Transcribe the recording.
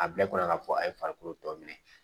A bila kɔnɔ k'a fɔ a ye farikolo tɔ minɛ